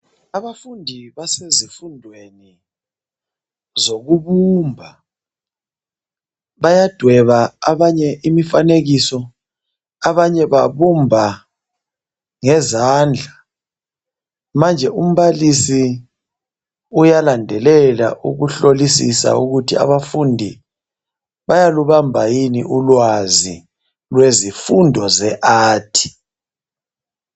Abafundi basesifundweni zokubumba bayadweba abanye imifanekiso abanye babumba ngezandla manje umbalisi uyalandelela ukuhlolisisa ukuthi abafundi bayalubamba yini ulwazi lwemfundo zeArt